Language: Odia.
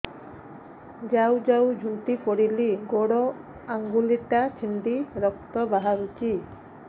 ଯାଉ ଯାଉ ଝୁଣ୍ଟି ପଡ଼ିଲି ଗୋଡ଼ ଆଂଗୁଳିଟା ଛିଣ୍ଡି ରକ୍ତ ବାହାରୁଚି